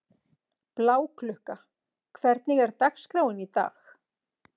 Bláklukka, hvernig er dagskráin í dag?